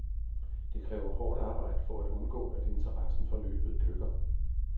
Det kræver hårdt arbejde for at undgå, at interessen for løbet dykker.